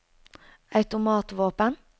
automatvåpen